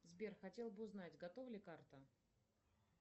сбер хотела бы узнать готова ли карта